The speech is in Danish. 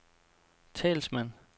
talsmand